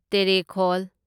ꯇꯦꯔꯦꯈꯣꯜ